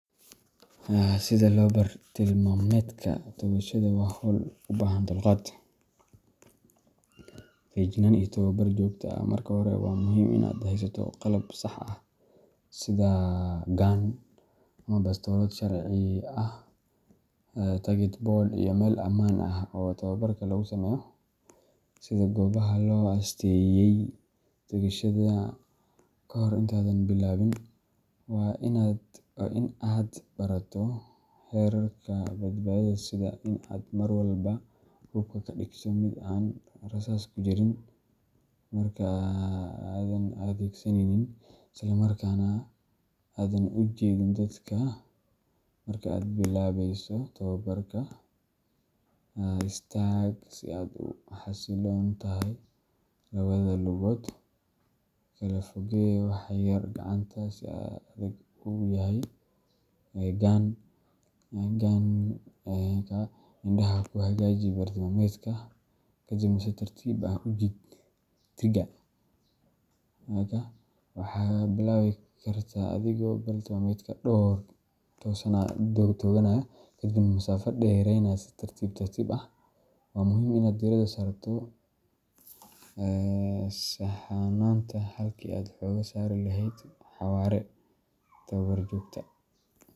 Sida loo barto bartilmaameedka toogashada waa hawl u baahan dulqaad, feejignaan iyo tababar joogto ah. Marka hore, waa muhiim in aad haysato qalab sax ah sida gun ama bastoolad sharci ah, target board iyo meel ammaan ah oo tababarka lagu sameeyo, sida goobaha loo asteeyay toogashada. Kahor intaadan bilaabin, waa in aad barato xeerarka badbaadada, sida in aad mar walba hubka ka dhigto mid aan rasaas ku jirin marka aanad adeegsanaynin, isla markaana aanad u jeedin dadka. Marka aad bilaabayso tababarka, istaag si aad u xasilloon tahay, labada lugood kala fogee wax yar, gacanta si adag u hay gun, indhaha ku hagaaji bartilmaameedka, kadibna si tartiib ah u jiid trigger. Waxaad bilaabi kartaa adigoo bartilmaameedka dhow u tooganaya, kadibna masaafo dheeraynaya si tartiib tartiib ah. Waa muhiim inaad diirada saarto saxnaanta halkii aad xooga saari lahayd xawaare tababar joogto.